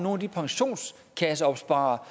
af de pensionskasseopsparere